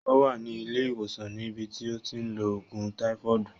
Ó wà ní ilé ìwòsàn ní bi tí ó ti ń lo ògùn táífọọdu